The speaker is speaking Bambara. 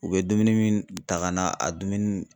U be dumuni min ta ga na a dumuni